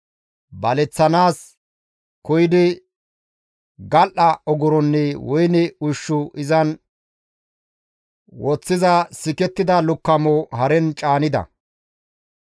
baleththanaas koyidi gal7a ogoronne woyne ushshu izan woththiza sikettida lukkamo haren caanida.